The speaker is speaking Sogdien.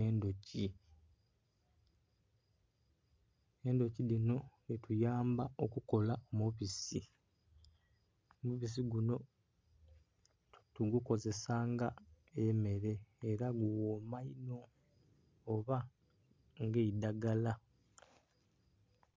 endhuki. Endhuki dhino dhituyamba okukola omubisi. Omubisi guno tugukozesa nga emmere era gughooma inho, oba ng'eidagala.